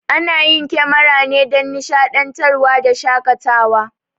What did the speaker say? Ana yin kemara ne dan nishaɗantar wa da shakatawa